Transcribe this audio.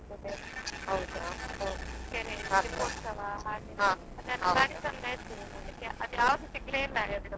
ಹೌದಾ ಆಗ್ಬೋದು.